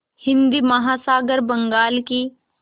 हिंद महासागर बंगाल की